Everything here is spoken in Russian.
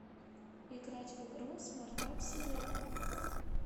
играть в игру смартап сизова